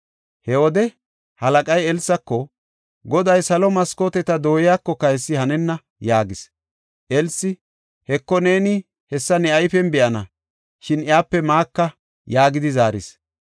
He wode halaqay Elsako, “Goday salo maskooteta dooyakoka hessi hanenna” yaagis. Elsi, “Heko, neeni hessa ne ayfen be7ana; shin iyape maaka” yaagidi zaaris.